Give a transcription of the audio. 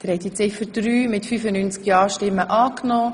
Sie haben Ziffer 3 angenommen.